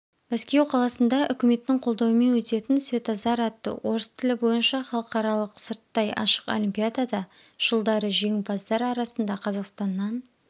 мәскеу қаласында үкіметтің қолдауымен өтетін светозар атты орыс тілі бойынша халықаралық сырттай ашық олимпиадада жылдары жеңімпаздар арасында қазақстаннан